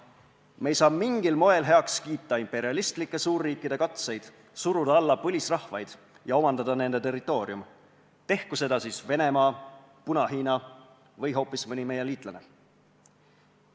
Me ei saa mingil moel heaks kiita imperialistike suurriikide katseid suruda alla põlisrahvaid ja omandada nende territoorium, tehku seda siis Venemaa, Puna-Hiina või hoopis mõni meie liitlane.